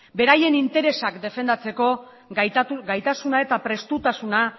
beraien interesak defendatzeko gaitasuna eta prestutasuna